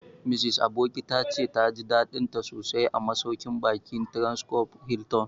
Mrs Aboki ta ce ta ji daɗinta sosai a masauƙin baƙin Transcorp Hilton